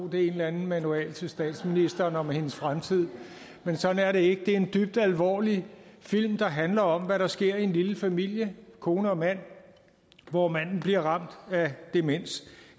det er en eller anden manual til statsministeren om hendes fremtid men sådan er det ikke det er en dybt alvorlig film der handler om hvad der sker i en lille familie kone og mand hvor manden bliver ramt af demens